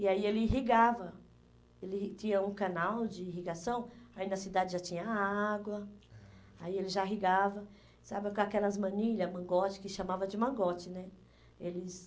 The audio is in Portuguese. E aí ele irrigava, ele irri tinha um canal de irrigação, aí na cidade já tinha água, aí ele já irrigava, sabe, com aquelas manilhas, mangote, que chamava de mangote, né? Eles